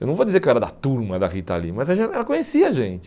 Eu não vou dizer que eu era da turma da Rita Lee, mas a gen ela conhecia a gente.